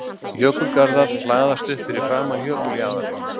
Jökulgarðar hlaðast upp framan við jökuljaðarinn.